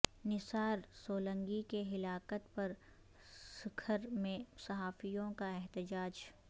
نثار سولنگی کی ہلاکت پر سکھر میں صحافیوں کا احتجاج